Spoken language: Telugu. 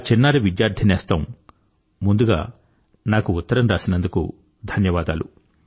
నా చిన్నారి విద్యార్థి నేస్తం ముందుగా నాకు ఉత్తరం రాసినందుకు ధన్యవాదాలు